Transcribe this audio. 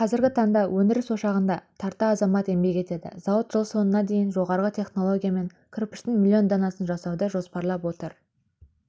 қазіргі таңда өндіріс ошағында тарта азамат еңбек етеді зауыт жыл соңына дейін жоғарғы технологиямен кірпіштің миллион данасын жасауды жоспарлап отыр